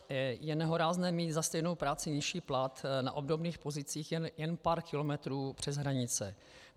Je nehorázné mít za stejnou práci nižší plat na obdobných pozicích jen pár kilometrů přes hranice.